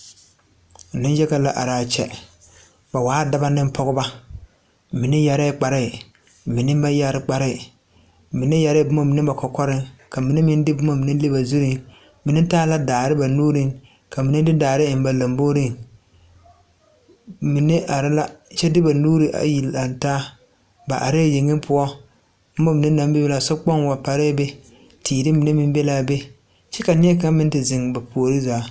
Naŋ yaga la araa kyɛ ba waa dɔbɔ neŋ pɔgebɔ mine yɛrɛɛ kparrehi mine meŋ ba yɛre kparehi mine yɛrɛɛ bomma mine ba kɔkɔriŋ ka mine meŋ de bomma mine le ba zurreŋ mine taa la daare ba nuureŋ ka mine de daare eŋ ba lamboreŋ mine are la kyɛ de ba nuure ayi lang taa ba areɛɛ yeŋe poɔ bomma mine naŋ bebe sokpoŋ wa larrɛɛ be teere mine meŋ be laa be kyɛ ka nie kaŋa meŋ te zeŋ ba puori zaa.